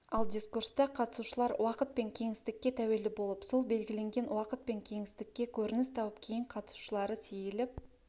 ал дискурста қатысушылар уақыт пен кеңістікке тәуелді болып сол белгіленген уақыт пен кеңістікте көрініс тауып кейін қатысушылары сейіліп